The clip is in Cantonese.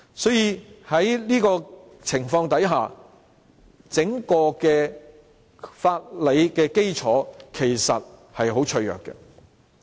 所以，整個法理基礎其實十分脆弱。